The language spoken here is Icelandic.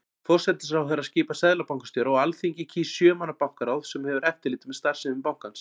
Forsætisráðherra skipar seðlabankastjóra og Alþingi kýs sjö manna bankaráð sem hefur eftirlit með starfsemi bankans.